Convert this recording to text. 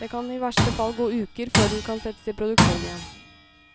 Det kan i verste fall gå uker før den kan settes i produksjon igjen.